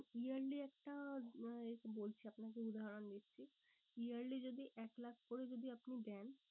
Yearly একটা উম বলছি আপনাকে উদাহরণ দিচ্ছি। yearly যদি এক লাখ করে যদি আপনি দেন।